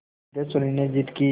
सिद्धेश्वरी ने जिद की